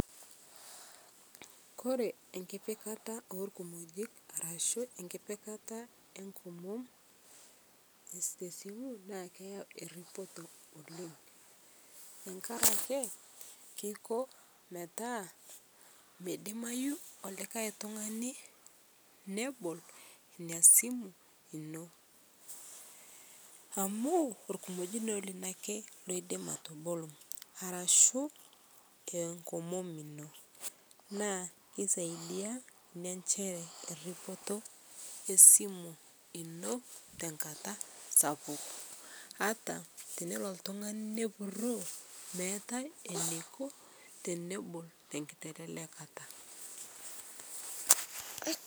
Kore enkipikata elkumojik arashuu enkipikata enkomom te simuu naa keyau eripotoo oleng tankarakee keikoo metaa meidimayuu likai tungani nebol inia simu inoo. Amu ilkumojinoo lino apeny loidim atoboloo arashuu aa nkomom inoo naa keisaidia inia ayau eripotoo esimu inoo tankataa sapuk ataa teneloo ltung'ani nepuroo meatai eneiko tenebol tenkitelelekata.